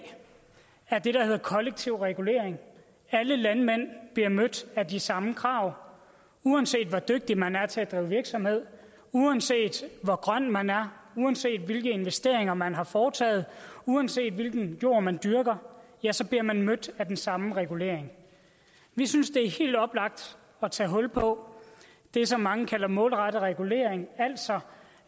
er det der hedder kollektiv regulering alle landmænd bliver mødt af de samme krav uanset hvor dygtig man er til at drive virksomhed uanset hvor grøn man er uanset hvilke investeringer man har foretaget uanset hvilken jord man dyrker bliver man mødt af den samme regulering vi synes det er helt oplagt at tage hul på det som mange kalder målrettet regulering altså